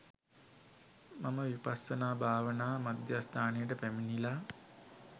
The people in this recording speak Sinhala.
මම විපස්සනා භාවනා මධ්‍යස්ථානයට පැමිණිලා